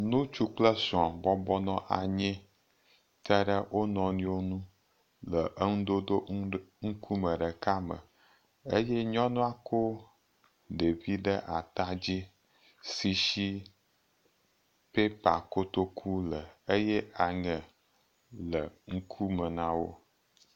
Ŋutsu kple srɔ̃ bɔbɔ nɔ anyi te ɖe wonuiwo ŋu le nudodo ŋkume ɖeka me eye nyɔnua ko ɖevi ɖe ata dzi si si paper kotoku le eye aŋe le ŋkume na wo.